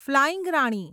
flying Rani